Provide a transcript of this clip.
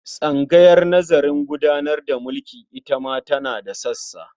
Tsangayar nazarin gudanar da mulki ita ma tana da sassa.